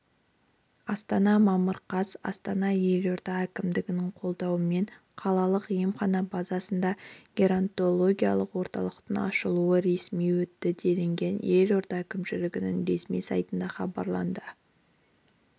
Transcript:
астана мамыр қаз астанада елорда әкімдігінің қолдауымен қалалық емхананың базасында геронтологиялық орталықтың ашылу рәсімі өтті делінген елорда әкімшілігінің ресми сайтындағы хабарда